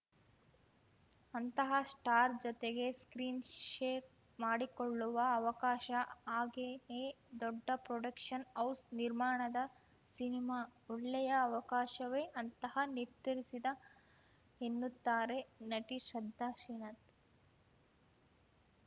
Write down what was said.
ಅಂತಹ ಸ್ಟಾರ್‌ ಜತೆಗೆ screen share ಮಾಡಿಕೊಳ್ಳುವ ಅವಕಾಶ ಹಾಗೆಯೇ ದೊಡ್ಡ ಪ್ರೊಡಕ್ಷನ್‌ ಹೌಸ್‌ ನಿರ್ಮಾಣದ ಸಿನಿಮಾ ಒಳ್ಳೆಯ ಅವಕಾಶವೇ ಅಂತಃ ನಿರ್ಧರಿಸಿದ ಎನ್ನುತ್ತಾರೆ ನಟಿ ಶ್ರದ್ಧಾ ಶ್ರೀನಾಥ್‌